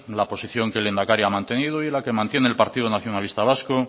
la posición que el lehendakari ha mantenido y la que mantiene el partido nacionalista vasco